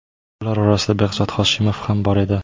Ular orasida Behzod Hoshimov ham bor edi.